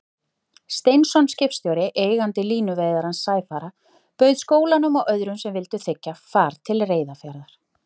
Steinsson skipstjóri, eigandi línuveiðarans Sæfara, bauð skólanum og öðrum sem vildu þiggja, far til Reyðarfjarðar.